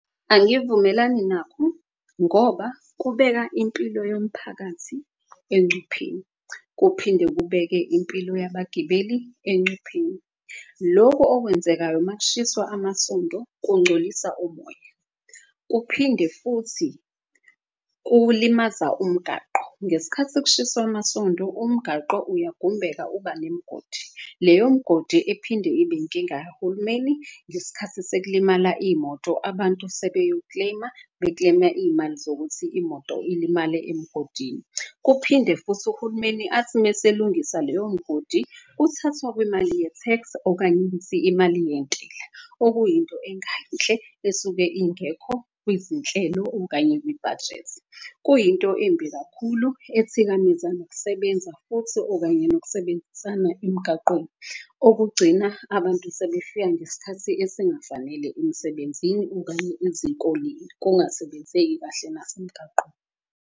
Angivumelani nakho ngoba kubeka impilo yomphakathi encupheni, kuphinde kubeke impilo yabagibeli encupheni. Loko okwenzekayo makushiswa amasonto kungcolisa umoya. Kuphinde futhi kulimaza umgaqo ngesikhathi kushiswa amasondo umgaqo uyagumbeka uba nemgodi. Leyo mgodi iphinde ibe inkinga yahulumeni ngesikhathi sekulimala iy'moto abantu sebewu-claim-a. Be-claim-a iy'mali zokuthi imoto ilimale emgodini, kuphinde futhi uhulumeni athi meselungisa leyo mgodi. Kuthathwa kwemali ye-tax okanye ukuthi imali yentela, okuyinto engayinhle esuke ingekho kwizinhlelo okanye kwibhajethi. Kuyinto embi kakhulu ethikameza nokusebenza futhi okanye nokusebenzisana emgaqweni. Okugcina abantu sebefika ngeskhathi esingafanele emsebenzini okanye izikoleni kungasebenzeki kahle .